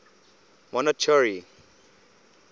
monarchy